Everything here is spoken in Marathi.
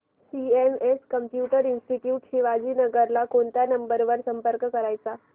सीएमएस कम्प्युटर इंस्टीट्यूट शिवाजीनगर ला कोणत्या नंबर वर संपर्क करायचा